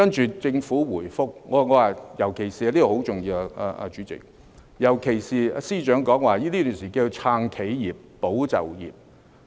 接着政府回覆——主席，這一點尤其重要——尤其是司長說，這段時間要"撐企業、保就業"。